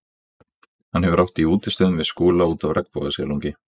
Hann hefur átt í útistöðum við Skúla út af regnbogasilungi.